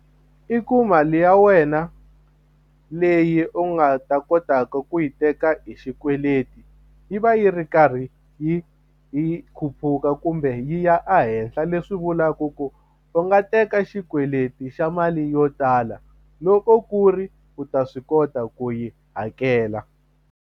I ku mali ya wena leyi u nga ta kotaka ku yi teka hi xikweleti yi va yi ri karhi yi yi khuphuka ku kumbe yi ya ehenhla leswi vulaku ku u nga teka xikweleti xa mali yo tala loko ku ri u ta swi kota ku yi hakela.